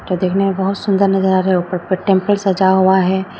यह देखने में बहोत सुंदर नजर आ रहा है ऊपर टेंपल सजा हुआ है।